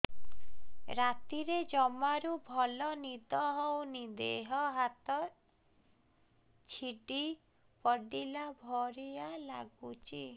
ରାତିରେ ଜମାରୁ ଭଲ ନିଦ ହଉନି ଦେହ ହାତ ଛିଡି ପଡିଲା ଭଳିଆ ଲାଗୁଚି